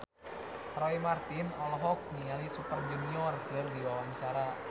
Roy Marten olohok ningali Super Junior keur diwawancara